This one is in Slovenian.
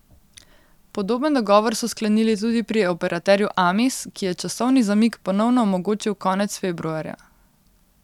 Podoben dogovor so sklenili tudi pri operaterju Amis, ki je časovni zamik ponovno omogočil konec februarja.